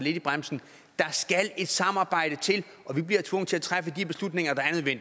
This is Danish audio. i bremsen der skal et samarbejde til og vi bliver tvunget til at træffe